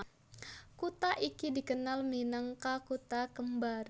Kutha iki dikenal minangka Kutha kembar